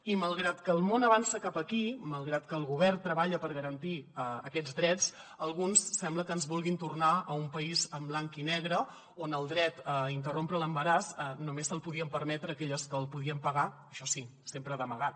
i malgrat que el món avança cap aquí malgrat que el govern treballa per garantir aquests drets alguns sembla que ens vulguin tornar a un país en blanc i negre on el dret a interrompre l’embaràs només se’l podien permetre aquelles que el podien pagar això sí sempre d’amagat